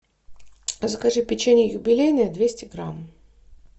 закажи печенье юбилейное двести грамм